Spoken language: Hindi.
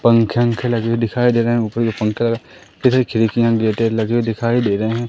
पंखे-वंखे लगे हुए दिखाइ दे रहे हैं ऊपर के पंखे इधर खिड़कियाँ गेटे लगे हुए दिखाये दे रहे हैं।